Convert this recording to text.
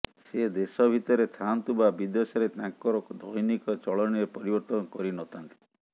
ସେ ଦେଶ ଭିତରେ ଥାଆନ୍ତୁ ବା ବିଦେଶରେ ତାଙ୍କର ଦୈନିକ ଚଳନୀରେ ପରିବର୍ତ୍ତନ କରିନଥାନ୍ତି